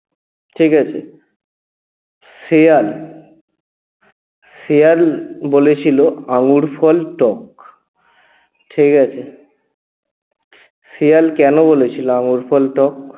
ঠিকাছে? শেয়াল শেয়াল বলেছিল আঙ্গুরফল টক ঠিকাছে? শিয়াল কেন বলেছিল আঙ্গুরফল টক?